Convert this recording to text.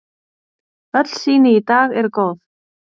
Öll sýni í dag eru góð.